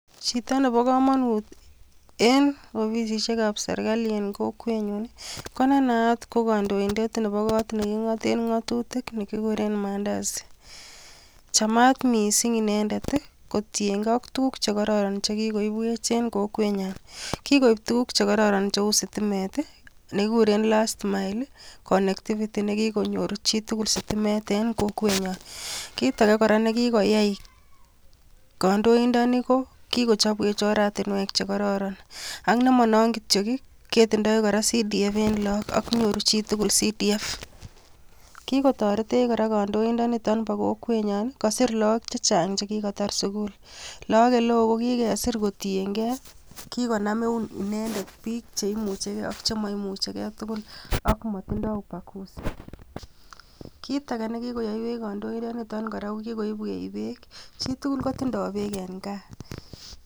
Chito nebo komonut en offisisiek ab serikali en kokwenyun nii ko ne naat ko kondoindet nebo kot nekingoten ngotutik nekikuren Mandazi, chamat missing inendet kotiyen gee ak tukuk chekororon chekikoibwech en kokwenyon, kikoib tukuk chekororon cheu sitimet tii nekikuren last miles connectivity nekikonyor chitukul sitimet en kokwenyon. Kit age koraa nekikoyai kondoindoni ko kikochopwech ortinwek chekororon ak nemo non kityok kii ketindoi koraa CDF en lok ak nyoru chitukul CDF. Kikotoretech Koraa kondoindoniton bo kokwenyon Nii kosir lok chekitar sukul, Lok oleo kokikesir kotuliyen gee kikonan eun inendet bik cheimuche gee ak chemoimuche gee tukuk ak mitindo ubakuzi. kit age nekikoyoiwech kondoindoniton Koraa ko kikoibwech beek chitukul kotindoi beek en gaa.